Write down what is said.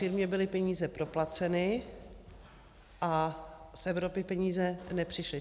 Firmě byly peníze proplaceny a z Evropy peníze nepřišly.